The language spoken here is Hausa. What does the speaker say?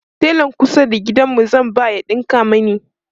telan kusa da gidanmu zan ba ya ɗinka mani